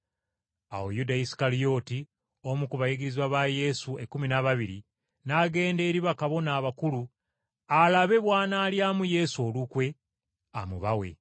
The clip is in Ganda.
Awo Yuda Isukalyoti, omu ku bayigirizwa ba Yesu ekkumi n’ababiri, n’agenda eri bakabona abakulu alabe bw’anaalyamu Yesu olukwe amubawe.